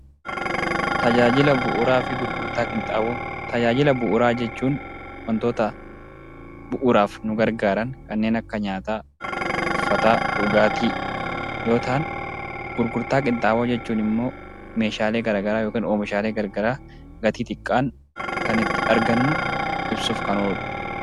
Tajaajila bu'uuraa jechuun wantoota bu'uuraaf nu gargaaran kanneen akka nyaataa, uffataa, dhugaatii yoo ta'an, gurgurtaa qinxaanboo jechuun immoo meeshaalee garaagaraa yookiin oomishaalee garaagaraa gatii xiqqaan kan ittiin argannu ibsuuf kan ooludha.